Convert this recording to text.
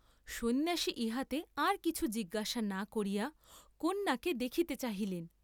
সন্ন্যাসী ইহাতে আর কিছু জিজ্ঞাসা না করিয়া কন্যাকে দেখিতে চাহিলেন।